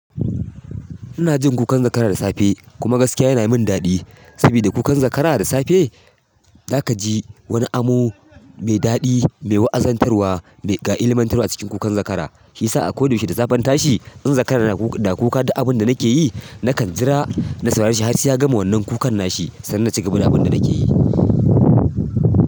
Inaji kukan zakara da safe, kuma yana min daɗi. Sabida kukan zakara da safe zaka ji wani amo mai daɗi, mai wa'azantarwa, mai ga illimantarwa a cikin kukan zakara. Shiyasa a koda yaushe da safe in tashi in zan zakara na kuka dukk abinda nake yi, nakan jira na saurare shi har sai ya gama wannan kukan nashi sannan na cigaba da abinda nakeyi.